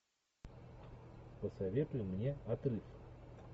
посоветуй мне отрыв